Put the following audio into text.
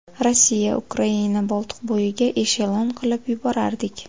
Rossiya, Ukraina, Boltiqbo‘yiga eshelon qilib yuborardik.